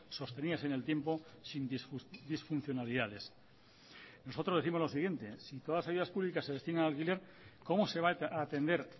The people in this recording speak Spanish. sostenidas en el tiempo sin disfuncionalidades nosotros décimos lo siguiente si todas las ayudas públicas se destinan al alquiler cómo se va a atender